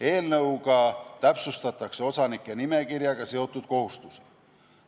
Eelnõuga täpsustatakse osanike nimekirjaga seotud kohustusi.